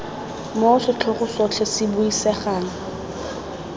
moo setlhogo sotlhe se buisegang